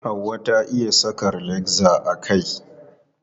Hauwa ta iya saka rilakza a kai.